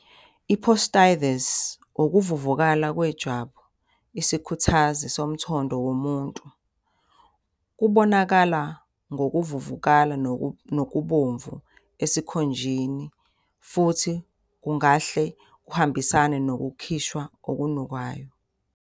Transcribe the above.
I-Posthitis, ukuvuvukala kwejwabu, isikhuthazi, somthondo womuntu. Kubonakala ngokuvuvukala nokubomvu esikhunjeni futhi kungahle kuhambisane nokukhishwa okunukayo.